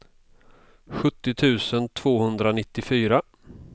sjuttio tusen tvåhundranittiofyra